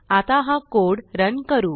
आता हा कोडRun करू